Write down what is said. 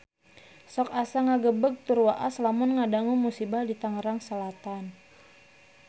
Sok asa ngagebeg tur waas lamun ngadangu musibah di Tangerang Selatan